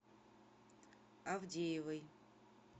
авдеевой